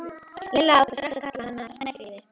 Lilla ákvað strax að kalla hana Snæfríði.